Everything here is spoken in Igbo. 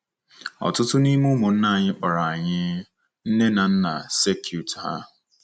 Ọtụtụ n’ime ụmụnna anyị kpọrọ anyị nne na nna circuit ha.